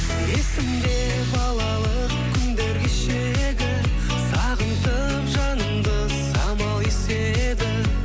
есімде балалық күндер кешегі сағынтып жанымды самал еседі